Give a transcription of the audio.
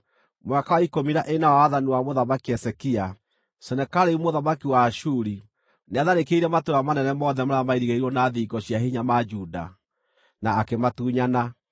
Mwaka wa ikũmi na ĩna wa wathani wa Mũthamaki Hezekia, Senakeribu mũthamaki wa Ashuri nĩatharĩkĩire matũũra manene mothe marĩa mairigĩirwo na thingo cia hinya ma Juda, na akĩmatunyana.